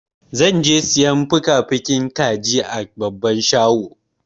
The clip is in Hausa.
Zan je sayan fukafukin kaji a babban shago.